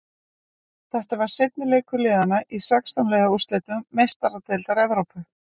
Þetta var seinni leikur liðana í sextán liða úrslitum Meistaradeildar Evrópu.